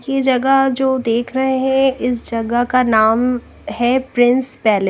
यह जगह जो देख रहे हैं इस जगह का नाम है प्रिंस पेले--